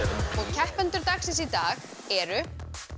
keppendur dagsins í dag eru